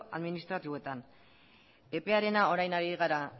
administratuetan epearena orain ari gara